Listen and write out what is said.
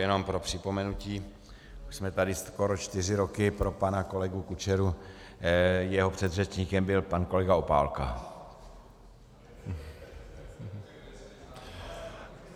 Jenom pro připomenutí, už jsme tady skoro čtyři roky, pro pana kolegu Kučeru, jeho předřečníkem byl pan kolega Opálka.